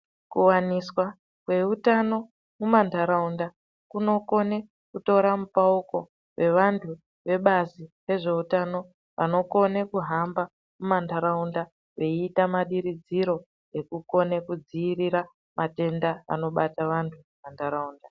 Kuwaniswa kweutano mumandaraunda kunokone kutora mupauko wevandu vebazi rezvehutano vanokone kuhamba mumandaraunda veyiita madiridziro ekukone kudziirira matenda anobata vandu mumandaraunda.